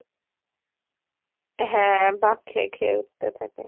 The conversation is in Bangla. হ্যাঁ বাঁক খেয়ে খেয়ে উত্তে থাকে।